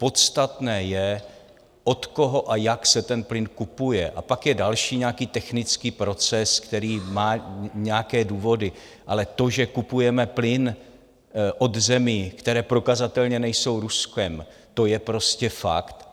Podstatné je, od koho a jak se ten plyn kupuje, a pak je další nějaký technický proces, který má nějaké důvody, ale to, že kupujeme plyn od zemí, které prokazatelně nejsou Ruskem, to je prostě fakt.